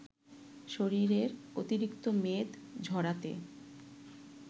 শরীরের অতিরিক্ত মেদ ঝরাতে